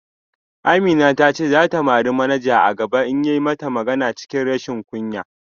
Amina ta ce za ta mari manaja a gaba in ya yi mata magana cikin rashin kunya